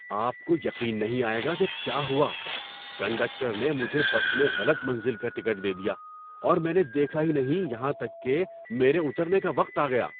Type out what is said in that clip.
آپ کو یقین نہیں آئے گا کہ کیا ہوا! کنڈکٹر نے مجھے بس میں غلط منزل کا ٹکٹ دے دیا، اور میں نے دیکھا ہی نہیں یہاں تک کہ میرے اترنے کا وقت آ گیا!